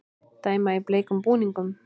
Dæma í bleikum búningum